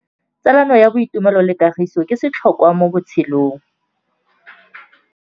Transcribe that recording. Tsalano ya boitumelo le kagiso ke setlhôkwa mo botshelong.